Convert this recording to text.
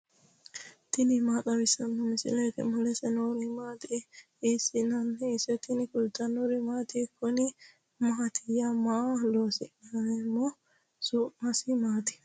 tini maa xawissanno misileeti ? mulese noori maati ? hiissinannite ise ? tini kultannori mattiya? Kunni matiiya? Mama loosammanno? Su'misi maatti?